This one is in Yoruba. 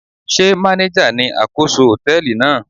Sé manager ni àkóso hòtẹ́ẹ̀lì náà?